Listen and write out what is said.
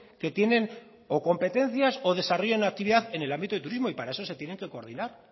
que tienen o competencias o desarrollen actividad en el ámbito del turismo y para eso se tienen que coordinar